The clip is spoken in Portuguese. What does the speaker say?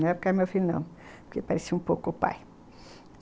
Na época era meu filho não, porque parecia um pouco o pai.